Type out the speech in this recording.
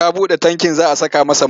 Ya buɗe tankin za a saka masa mai.